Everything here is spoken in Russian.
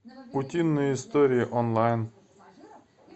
утиные истории онлайн